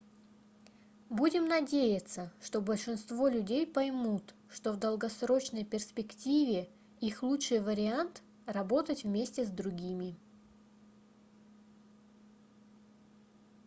будем надеяться что большинство людей поймут что в долгосрочной перспективе их лучший вариант работать вместе с другими